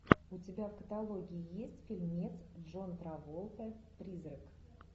у тебя в каталоге есть фильмец джон траволта призрак